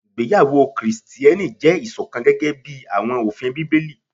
Igbeyawo Kristiẹni jẹ iṣọkan gẹgẹbi awọn ofin Bibeli